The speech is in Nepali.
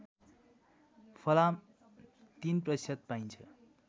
फलाम ०३ प्रतिशत पाइन्छ